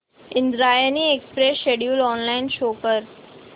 Indrayani express schedule online show कर